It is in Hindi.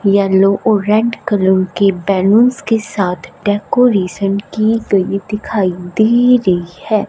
येलो ऑरेंज कलर की बैलूंस के साथ डेकोरेशन की गई दिखाई दे रही है।